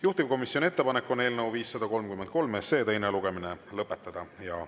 Juhtivkomisjoni ettepanek on eelnõu 533 teine lugemine lõpetada.